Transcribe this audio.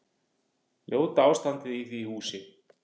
Ljóta ástandið í því húsi.